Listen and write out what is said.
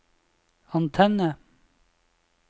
antenne